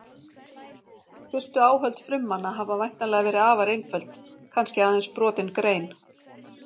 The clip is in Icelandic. Fyrstu áhöld frummanna hafa væntanlega verið afar einföld, kannski aðeins brotin grein.